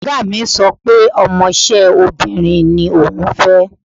Ọ̀gá mi sọ pé ọmọṣẹ́ obìnrin ni òun fẹ́.